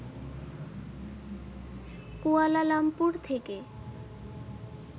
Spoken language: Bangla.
কুয়ালালামপুর থেকে